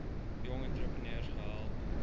jong entrepreneurs gehelp